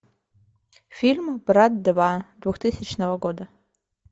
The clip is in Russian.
фильм брат два двухтысячного года